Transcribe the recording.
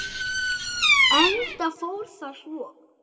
Enda fór það svo.